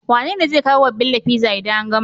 Wane zai kawo wa Bello pizza idan an gama?